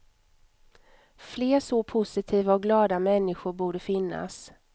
Fler så positiva och glada människor borde finnas.